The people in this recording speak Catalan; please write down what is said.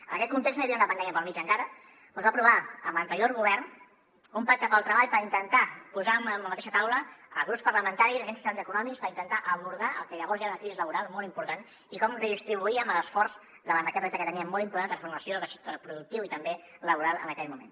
en aquest context no hi havia una pandèmia pel mig encara però es va aprovar amb l’anterior govern un pacte pel treball per intentar posar en la mateixa taula grups parlamentaris agents socials i econòmics per intentar abordar el que llavors ja era una crisi laboral molt important i com redistribuíem l’esforç davant d’aquest repte que teníem molt important de transformació del teixit productiu i també laboral en aquell moment